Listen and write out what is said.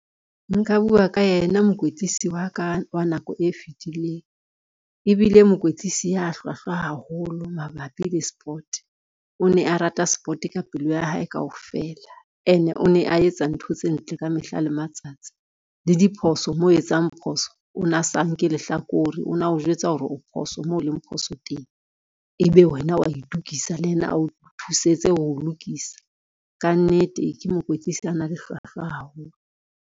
Nka bua ka yena mokwetlisi wa ka wa nako e fetileng, ebile mokwetlisi ya hlwahlwa haholo mabapi le sport. O ne a rata sport ka pelo ya hae kaofela ene o ne a etsa ntho tse ntle ka mehla le matsatsi le diphoso mo etsang phoso, o na sa nke lehlakore ona o jwetsa hore o phoso mo leng phoso teng. Ebe wena wa itokisa le yena a o thusetse ho lokisa ka nnete ke mokwetlisi a na le hlwahlwa haholo.